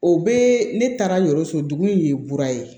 O bɛ ne taara n yɛrɛ so dugu in ye mura ye